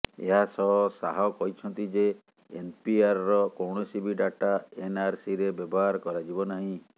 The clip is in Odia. ଏହାସହ ଶାହ କହିଛନ୍ତି ଯେ ଏନପିଆରର କୌଣସି ବି ଡାଟା ଏନଆରସିରେ ବ୍ୟବହାର କରାଯିବ ନାହିଁ